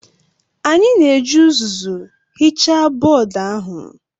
Anyị na-eji uzuzu hichaa bọọdụ ahụ